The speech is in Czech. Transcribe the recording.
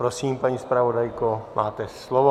Prosím, paní zpravodajko, máte slovo.